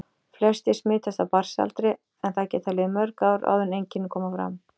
Flestir smitast á barnsaldri en það geta liðið mörg ár áður en einkenni koma fram.